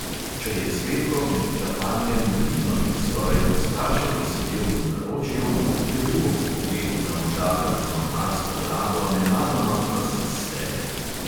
Če je cvetko med čakanjem pridno in skoraj prestrašeno sedel v naročju, je bil ob pogledu na možaka z mornarsko brado nenadoma ves iz sebe.